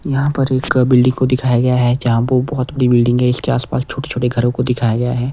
यहां पर एक बिल्डिंग दिखाया गया है। जहां पर एक बहुत बड़ा बिल्डिंग है। इसके आसपास छोटे-छोटे घरों को दिखाया गया है।